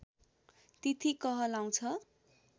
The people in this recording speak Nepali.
तिथि कहलाउँछ